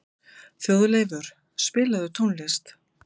Þjóðleifur, spilaðu tónlist.